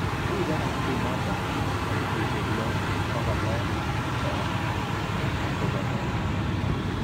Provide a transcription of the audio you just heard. Ribe kambiinoto biik 6235